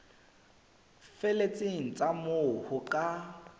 felletseng tsa moo ho ka